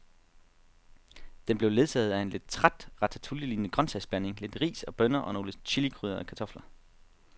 Den blev ledsaget af en lidt træt ratatouillelignende grøntsagsblanding, lidt ris og bønner og nogle chilikrydrede kartofler.